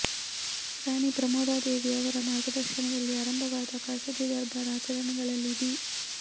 ರಾಣಿ ಪ್ರಮೋದಾ ದೇವಿ ಅವರ ಮಾರ್ಗದರ್ಶನದಲ್ಲಿ ಆರಂಭವಾದ ಖಾಸಗಿ ದರ್ಬಾರ್ ಆಚರಣೆಗಳಲ್ಲಿ ದಿ